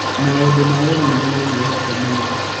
Maũndũ ma wĩra nĩmo mamuohete mũno.